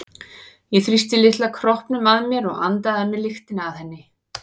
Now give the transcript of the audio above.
Ég þrýsti litla kroppnum að mér og andaði að mér lyktinni af henni.